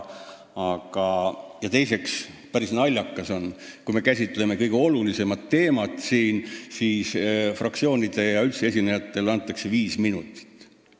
Teiseks on päris naljakas see, et me käsitleme kõige olulisemat teemat siin nii lühidalt: fraktsioonidele ja üldse esinejatele antakse viis minutit.